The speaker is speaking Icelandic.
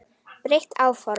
Breytt áform